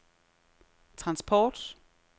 transport